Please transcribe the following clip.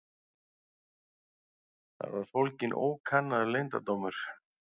Þar var fólginn ókannaður leyndardómur.